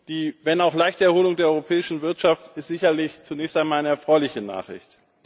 Die, wenn auch leichte, Erholung der europäischen Wirtschaft ist sicherlich zunächst einmal eine erfreuliche Nachricht.